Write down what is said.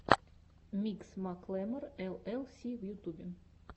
микс маклемор эл эл си в ютубе